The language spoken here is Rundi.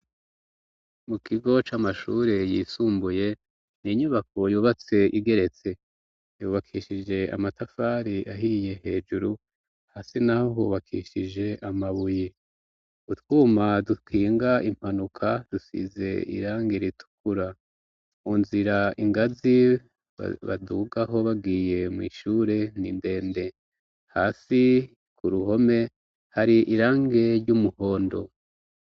Mu kigo c'amashure yisumbuye n' inyubako yubatse igeretse yubakishije amatafari ahiye hejuru hasi na ho hubakishije amabuyi utwuma dukinga impanuka dusize iranga ritukura unzira ingaziwe badugaho bagwiye mw'ishure nindende hasi ku ruhome hari irange ry'umuhondo.